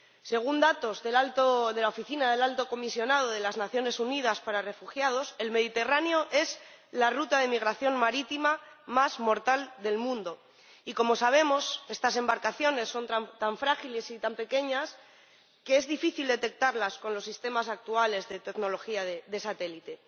Según datos de la Oficina del Alto Comisionado de las Naciones Unidas para los Refugiados, el Mediterráneo es la ruta de migración marítima más mortal del mundo y −como sabemos− estas embarcaciones son tan frágiles y tan pequeñas que es difícil detectarlas con los sistemas actuales de tecnología de satélite.